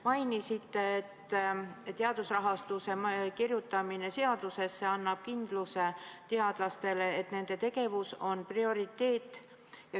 Mainisite, et teadusrahastuse kirjutamine seadusesse annab teadlastele kindluse, et nende tegevus on prioriteet.